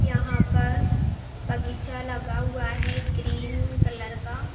यहां पर बगीचा लगा हुआ है ग्रीन कलर का।